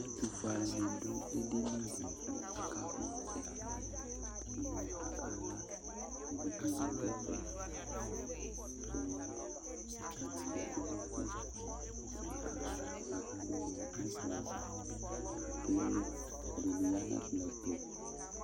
Ɛtʋfuealunɩ dʋ edini dɩ kʋ akakpɔ ɔtsɛ kʋ akala Evidzenɩ adʋ ɛfɛ kʋ atani adʋ ɛkʋ nʋ ʋtʋ kʋ akala Akadʋ ʋnɔ nʋ ɛkplɔ ava kʋ ake li Ɛdɩnɩ ya nʋ ɛkplɔ ɛtʋ